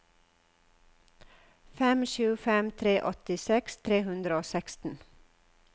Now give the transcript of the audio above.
fem sju fem tre åttiseks tre hundre og seksten